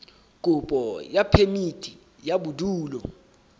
kopo ya phemiti ya bodulo